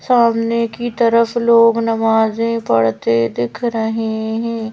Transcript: सामने की तरफ लोग नमाजे पढ़ते दिख रहे है।